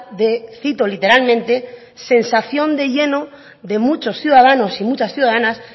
de cito literalmente sensación de lleno de muchos ciudadanos y muchas ciudadanas